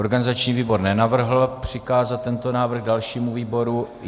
Organizační výbor nenavrhl přikázat tento návrh dalšímu výboru.